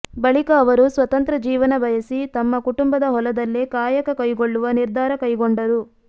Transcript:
ಬಳಿಕ ಅವರು ಸ್ವತಂತ್ರ ಜೀವನ ಬಯಸಿ ತಮ್ಮ ಕುಟುಂಬದ ಹೊಲದಲ್ಲೇ ಕಾಯಕ ಕೈಗೊಳ್ಳುವ ನಿರ್ಧಾರ ಕೈಗೊಂಡರು